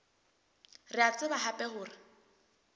re a tseba hape hore